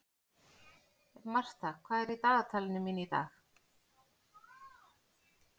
Martha, hvað er í dagatalinu mínu í dag?